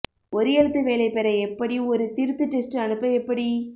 ஒரு எழுத்து வேலை பெற எப்படி ஒரு திருத்து டெஸ்ட் அனுப்ப எப்படி